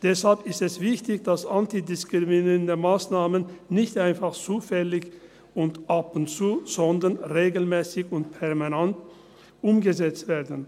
Deshalb ist es wichtig, dass antidiskriminierende Massnahmen nicht einfach zufällig und ab und zu, sondern regelmässig und permanent umgesetzt werden.